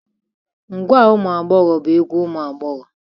Ngwa umuagbogho bu egwu umu agbogho.